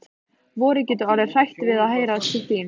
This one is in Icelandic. Vorið getur orðið hrætt við að heyra til þín.